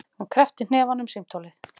Hann kreppti hnefana um símtólið.